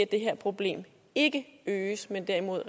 det her problem ikke øges men derimod